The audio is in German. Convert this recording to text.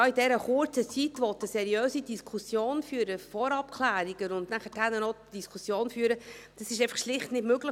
In dieser kurzen Zeit eine seriöse Diskussion führen zu können – Vorabklärungen und nachher noch die Diskussion führen –, ist schlicht nicht möglich.